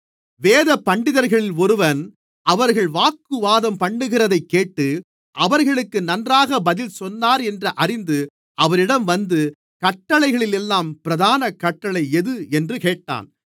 வேதபண்டிதர்களில் ஒருவன் அவர்கள் வாக்குவாதம்பண்ணுகிறதைக்கேட்டு அவர்களுக்கு நன்றாக பதில் சொன்னார் என்று அறிந்து அவரிடம் வந்து கட்டளைகளிலெல்லாம் பிரதான கட்டளை எது என்று கேட்டான்